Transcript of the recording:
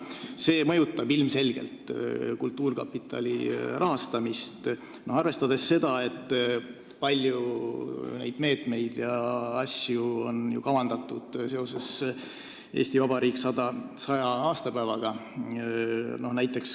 See mõjutab ilmselgelt kultuurkapitali rahastamist, arvestades seda, et palju meetmeid ja asju on kavandatud seoses Eesti Vabariigi 100. aastapäevaga.